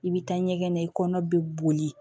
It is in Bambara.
I bɛ taa ɲɛgɛn na i kɔnɔ bɛ boli